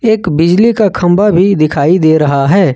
एक बिजली का खंबा भी दिखाई दे रहा है।